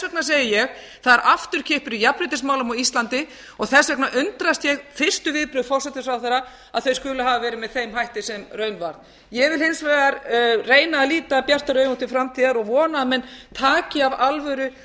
segi ég það er afturkippur í jafnréttismálum á íslandi og þess hina undrast ég fyrstu viðbrögð forsætisráðherra að þau skuli hafa verið með þeim hætti sem raun var ég vil hins vegar reyna að líta bjartari augum til framtíðar og vona að menn taki af alvöru